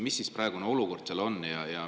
Mis praegune olukord seal on?